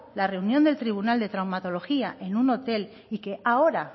la reunión del tribunal de traumatología en un hotel y que ahora